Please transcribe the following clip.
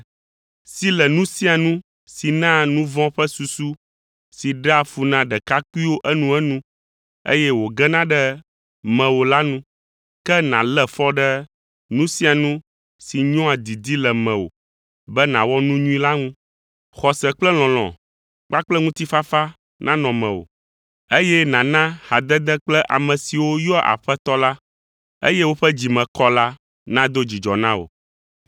Si le nu sia nu si naa nu vɔ̃ ƒe susu si ɖea fu na ɖekakpuiwo enuenu, eye wògena ɖe mewò la nu, ke nàlé fɔ ɖe nu sia nu si nyɔa didi le mewò be nàwɔ nu nyui la ŋu. Xɔse kple lɔlɔ̃ kpakple ŋutifafa nanɔ mewò, eye nàna hadede kple ame siwo yɔa Aƒetɔ la, eye woƒe dzi me kɔ la, nado dzidzɔ na wò.